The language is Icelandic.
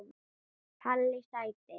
Palli sæti!!